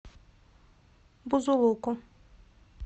бузулуку